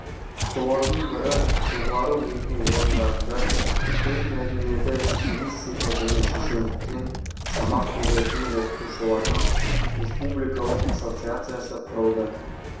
солардың бірі жоғары оқу орындарында сөз мәдениеті стилистика және шешендіктен сабақ беретін оқытушылардың республикалық ассоциациясы құрылды